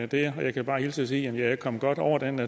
der og jeg kan bare hilse og sige at jeg er kommet godt over den